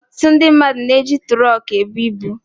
Ọtụtụ ndị mmadụ na-eji tụrọkụ ebu ibu.